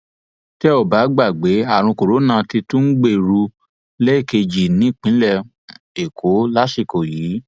tẹ ò bá gbàgbé àrùn corona tún ti ń gbèrú lẹẹkejì nípìnlẹ èkó lásìkò yìí